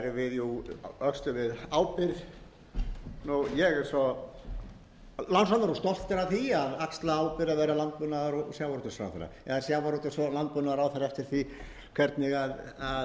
þing og síðan öxlum við ábyrgð ég er svo lánsamur og stoltur af því að axla ábyrgð að vera landbúnaðar og sjávarútvegsráðherra eða sjávarútvegs og landbúnaðarráðherra eftir því hvernig við viljum í hvaða röð við